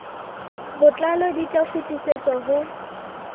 botlalo di tla kgutlisetswa ho